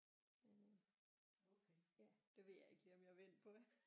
Men øh ja det ved jeg ikke lige om jeg vil ind på